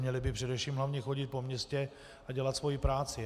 Měli by především hlavně chodit po městě a dělat svoji práci.